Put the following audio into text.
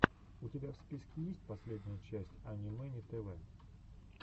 у тебя в списке есть последняя часть ани мэни тв